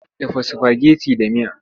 Dafa sifageti da miya!